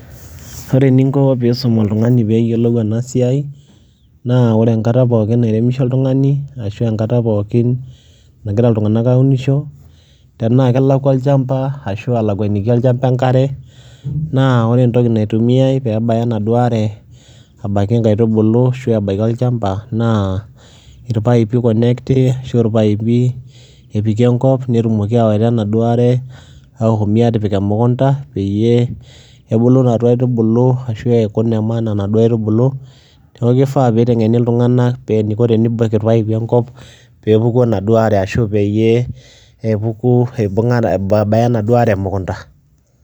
Kore eninko piisum oltung'ani peeyolou ena siai naa ore enkata poookin nairemisho oltung'ani ashu enkata pookin nagira iltung'anak aunisho, tenaa kelakua olchamba ashu alakuaniki olchamba enkare naa kore entoki naitumiai peebaya enaduo are abaiki nkaitubulu ashu ebaiki olchamba naa irpaipi iconnecti ashu a irpaipi epiki enkop netumoki aawaita enaduo are ashomi aatipik emukunda peyie ebulu naduo aitubulu ashu eeku ine maana naduo aitubulu. Neeku ifaa piiteng'eni iltung'anak pee eniko tenibaki irpaipi enkop pee epuku enaduo are peyie epuku aibung'a pee ebaya enaduo are emukunda.